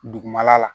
Dugumala la